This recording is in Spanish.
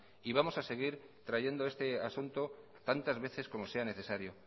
y vamos a seguir trayendo este asunto tantas veces como sea necesario